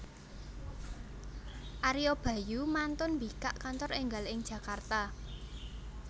Ario Bayu mantun mbikak kantor enggal ing Jakarta